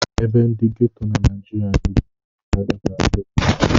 Ebe ndị ghetto na Naịjirịa na-ejupụtakarị ndị mmadụ